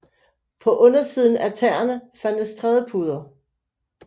På undersiden af tæerne fandtes trædepuder